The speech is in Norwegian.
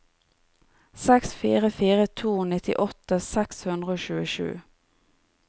seks fire fire to nittiåtte seks hundre og tjuesju